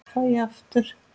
Fæ ég aftur?